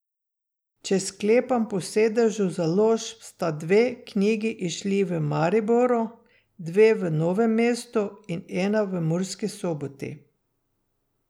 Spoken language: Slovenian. Če sklepam po sedežu založb, sta dve knjigi izšli v Mariboru, dve v Novem mestu in ena v Murski Soboti.